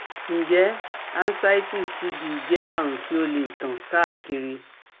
Njẹ ascites TB jẹ arun ti o le tan kaakiri?